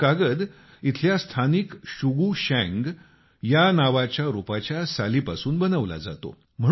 हा कागद इथल्या स्थानिक शुगु शँग नावाच्या रोपाच्या सालीपासून बनवला जातो